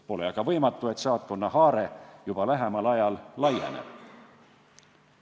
Pole võimatu, et saatkonna haare lähiajal laieneb.